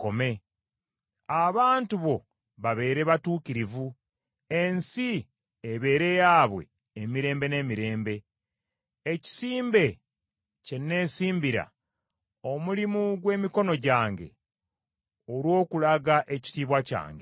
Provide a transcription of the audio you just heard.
Abantu bo babeere batuukirivu, ensi ebeere yaabwe emirembe n’emirembe. Ekisimbe kye nnesimbira; omulimu gw’emikono gyange, olw’okulaga ekitiibwa kyange.